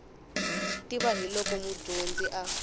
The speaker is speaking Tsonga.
tiva hi loko mudyonzi a